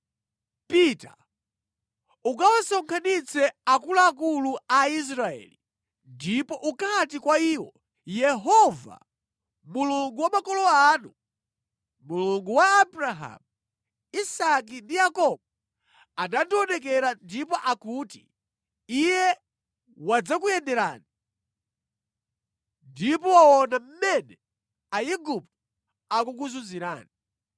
“Pita, ukawasonkhanitse akuluakulu a Israeli ndipo ukati kwa iwo, ‘Yehova, Mulungu wa makolo anu, Mulungu wa Abrahamu, Isake ndi Yakobo, anandionekera ndipo akuti Iye wadzakuyenderani ndipo waona mmene Aigupto akukuzunzirani.